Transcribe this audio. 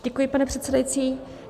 Děkuji, pane předsedající.